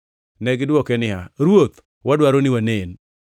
Negidwoke niya, “Ruoth, wadwaro ni wanen.”